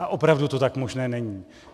A opravdu to tak možné není.